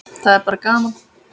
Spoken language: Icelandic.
Það er bara gaman